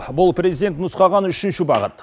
бұл президент нұсқаған үшінші бағыт